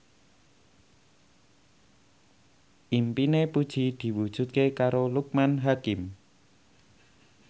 impine Puji diwujudke karo Loekman Hakim